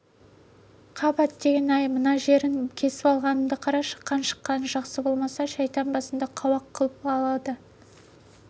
қап әттеген-ай мына жерін кесіп алғанымды қарашы қан шыққаны жақсы болмаса шайтан басыңды қауақ қылып алады